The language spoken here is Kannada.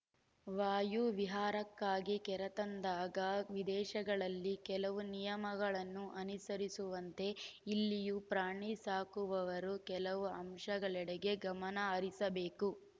ವಾಯುವಿಹಾರಕ್ಕಾಗಿ ಕರೆತಂದಾಗ ವಿದೇಶಗಳಲ್ಲಿ ಕೆಲವು ನಿಯಮಗಳನ್ನು ಅನುಸರಿಸುವಂತೆ ಇಲ್ಲಿಯೂ ಪ್ರಾಣಿ ಸಾಕುವವರು ಕೆಲ ಅಂಶಗಳೆಡೆಗೆ ಗಮನಹರಿಸಬೇಕು